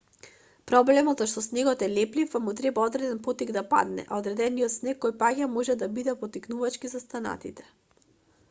проблемот е што снегот е леплив па му треба одреден поттик да падне а одредениот снег кој паѓа може да биде поттикнувачки за останатите